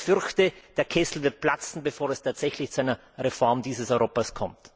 Aber ich fürchte, der Kessel wird platzen, bevor es tatsächlich zu einer Reform dieses Europas kommt.